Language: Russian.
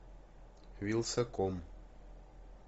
вилсаком